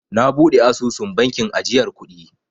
Na buɗe asusun bankin ajiyar kuɗi.